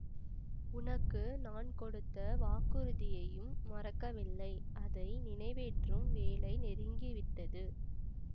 உனக்கு நான் கொடுத்த வாக்குறுதியையும் மறக்கவில்லை அதை நினைவேற்றும் வேளை நெருங்கி விட்டது